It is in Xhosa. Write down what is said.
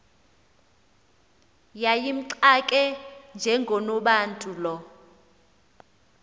yayimxake njengonobantu lo